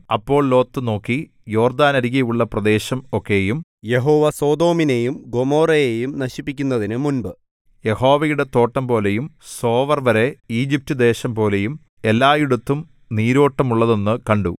അപ്പോൾ ലോത്ത് നോക്കി യോർദ്ദാനരികെയുള്ള പ്രദേശം ഒക്കെയും യഹോവ സൊദോമിനെയും ഗൊമോരയെയും നശിപ്പിച്ചതിനു മുമ്പ് യഹോവയുടെ തോട്ടംപോലെയും സോവർ വരെ ഈജിപ്റ്റുദേശംപോലെയും എല്ലായിടത്തും നീരോട്ടമുള്ളതെന്നു കണ്ടു